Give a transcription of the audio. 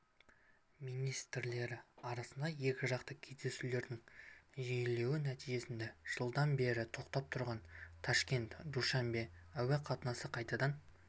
министрлері арасында екіжақты кездесулердің жиілеуі нәтижесінде жылдан бері тоқтап тұрған ташкент душанбе әуе қатынасы қайтадан